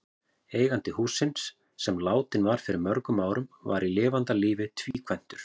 Eigandi hússins, sem látinn var fyrir mörgum árum, var í lifanda lífi tvíkvæntur.